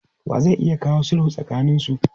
Wa zai iya kawo sulhu tsakaninsu?